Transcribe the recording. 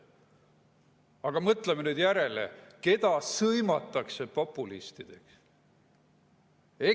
Aga mõtleme järele, keda sõimatakse populistideks!